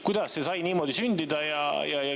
Kuidas see sai niimoodi sündida?